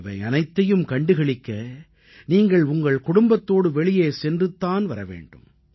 இவையனைத்தையும் கண்டு களிக்க நீங்கள் உங்கள் குடும்பத்தோடு வெளியே சென்றுத் தான் வர வேண்டும்